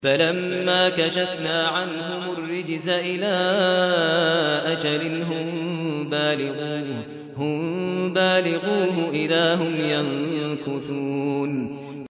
فَلَمَّا كَشَفْنَا عَنْهُمُ الرِّجْزَ إِلَىٰ أَجَلٍ هُم بَالِغُوهُ إِذَا هُمْ يَنكُثُونَ